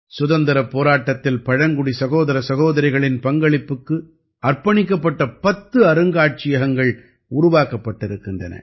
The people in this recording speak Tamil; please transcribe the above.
சுதந்திரப் போராட்டத்தில் பழங்குடி சகோதர சகோதரிகளின் பங்களிப்புக்கு அர்ப்பணிக்கப்பட்ட பத்து அருங்காட்சியகங்கள் உருவாக்கப்பட்டிருக்கின்றன